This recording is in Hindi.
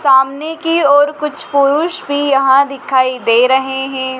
सामने की ओर कुछ पुरुष भी यहां दिखाई दे रहे है।